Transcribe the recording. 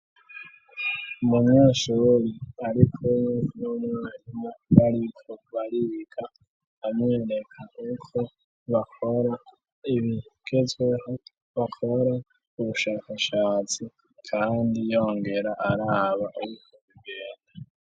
Umunyeshuri ari kumwe n'umwarimu bariko bariga amwereka uko bakora ibigezweho, bakora ubushakashatsi kandi yongera araba uko bigenda.